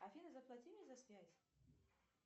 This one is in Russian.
афина заплати мне за связь